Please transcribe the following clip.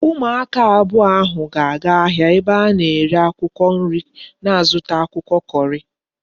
Umu aka abuo ahu ga aga ahia ebe ana ere akwukwo nri na zuta akwukwo curry